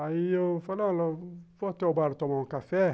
Aí eu falei, ó, vou até o bar tomar um café.